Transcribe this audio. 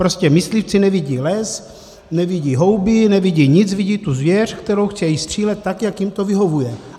Prostě myslivci nevidí les, nevidí houby, nevidí nic, vidí tu zvěř, kterou chtějí střílet tak, jak jim to vyhovuje.